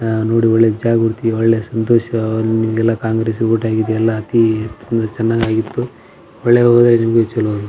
ಆಹ್ಹ್ ನೋಡಿ ಜಾಗ ಒಳ್ಳೆ ಸಂತೋಷವನ್ನು ಕಾಂಗ್ರೆಸ್ ವೋಟ್ ಆಗಿದೆ ಅಲ್ಲ ಅತಿ ಎಲ್ಲ ಚೆನ್ನಾಗಾಗಿತ್ತು ಒಳ್ಳೆ ಚಲೋ ಅದ --